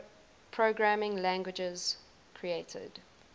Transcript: programming languages created